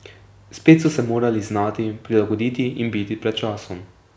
Spet so se morali znati prilagoditi in biti pred časom.